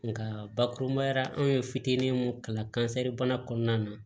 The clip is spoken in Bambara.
Nka bakurubaya la an ye fitinin mun kalan kansɛribana kɔnɔna na